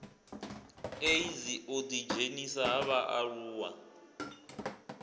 eidzi u ḓidzhenisa ha vhaaluwa